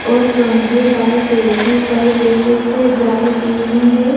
और laundry by KG पर pieces है ड्राय क्लिनिंग है।